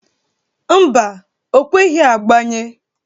Mba, o kweghi agbanye.